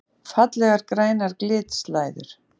Fallegar grænar glitslæður!